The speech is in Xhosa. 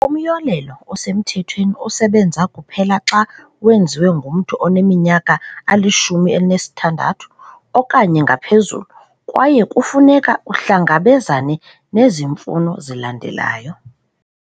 Umyolelo osemthethweni usebenza kuphela xa wenziwe ngumntu oneminyaka eli-16 okanye ngaphezulu, kwaye kufuneka uhlangabezane nezi mfuno zilandelayo.